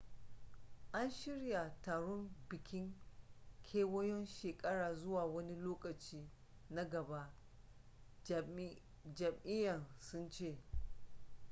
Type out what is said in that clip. an shirya taron bikin kewayon shekara zuwa wani lokaci na gaba jami'an sun ce